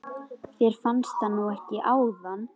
Þér fannst það nú ekki áðan.